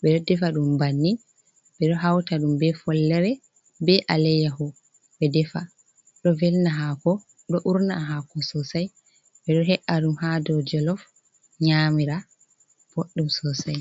ɓe ɗo defa ɗum bannin, ɓe ɗo hauta ɗum be follere, be alayyaho, ɓe defa. Ɗo velna hako, ɗo urna hako sosai. Ɓedo he’a ɗum ha do jolof nyamira. Boɗɗum sosai.